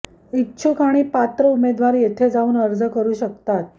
इच्छुक आणि पात्र उमेदवार येथे जाऊन अर्ज करु शकतात